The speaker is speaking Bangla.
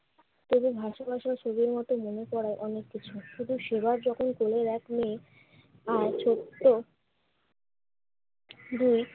তবে ভাসা ভাসা ছবির মতো মনে করায় অনেক কিছু। শুধু সেবার যখন কোলের এক মেয়ে আর ছোট্ট দুই